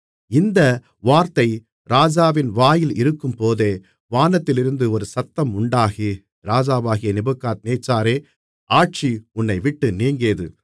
இந்த வார்த்தை ராஜாவின் வாயில் இருக்கும்போதே வானத்திலிருந்து ஒரு சத்தம் உண்டாகி ராஜாவாகிய நேபுகாத்நேச்சாரே ஆட்சி உன்னைவிட்டு நீங்கியது